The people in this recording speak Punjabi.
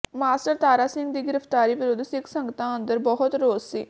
ਮਾਸਟਰ ਤਾਰਾ ਸਿੰਘ ਦੀ ਗ੍ਰਿਫ਼ਤਾਰੀ ਵਿਰੁੱਧ ਸਿੱਖ ਸੰਗਤਾਂ ਅੰਦਰ ਬਹੁਤ ਰੋਸ ਸੀ